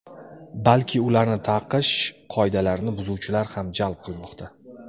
balki ularni taqish qoidalarini buzuvchilar ham jalb qilmoqda.